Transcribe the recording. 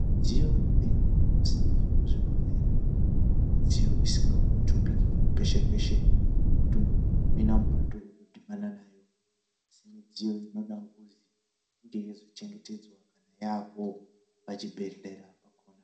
Midziyo imweni inoseenzeswe muzvibhedhlera midziyo isingangotumbiki peshe peshe kuti muntu otopinda mupato otodhibana nayo asi midziyo inodakuzi inge yeizochengetedzwa kana yaapowo pachibhedhlera pakona.